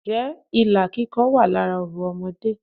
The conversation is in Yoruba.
Ǹ jẹ́ ilà kíkọ wà lára orò Ọmọdé